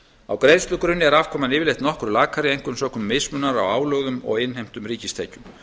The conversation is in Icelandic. á greiðslugrunni er afkoman yfirleitt nokkru lakari einkum sökum mismunar á álögðum og innheimtum ríkistekjum